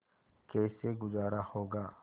कैसे गुजारा होगा